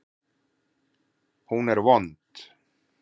Hún er vond.